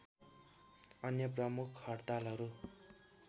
अन्य प्रमुख हडतालहरू